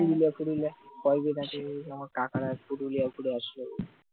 পুরুলিয়া টুরলিয়া পরগণাতে আমার কাকারা পুরুলিয়া ঘুরে আসল